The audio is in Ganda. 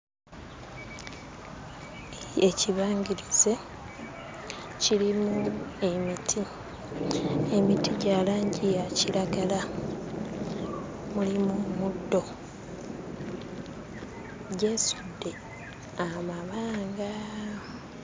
Ekibangirizi kirimu emiti. Emiti gya langi ya kiragala. Mulimu omuddo. Gyesudde amabanga.